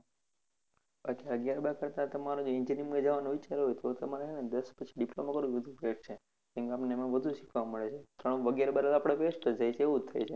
અથવા અગિયાર બાર કરતા તમારે engineering માં જવાનો વિચાર હોઈ, તો તમારે છેને diploma કરેલું best છે, કેમકે આપને એમાં વધુ શીખવા મળે છે, કારણ કે અગિયાર બાર આપણે best છે એ કરવુ જ પડશે.